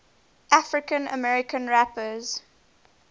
african american rappers